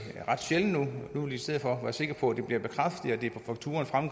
nu vil folk i stedet for være sikre på at det bliver bekræftet